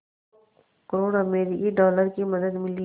दो करोड़ अमरिकी डॉलर की मदद मिली